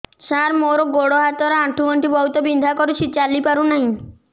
ସାର ମୋର ଗୋଡ ହାତ ର ଆଣ୍ଠୁ ଗଣ୍ଠି ବହୁତ ବିନ୍ଧା କରୁଛି ଚାଲି ପାରୁନାହିଁ